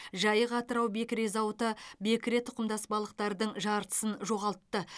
жайық атырау бекіре зауыты бекіре тұқымдас балықтардың жартысын жоғалтты